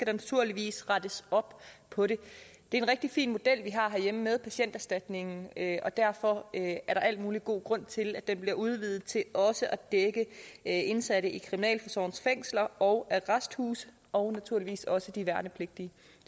naturligvis rettes op på det det er en rigtig fin model vi har herhjemme med patienterstatningen og derfor er der al mulig god grund til at den bliver udvidet til også at dække indsatte i kriminalforsorgens fængsler og arresthuse og naturligvis også de værnepligtige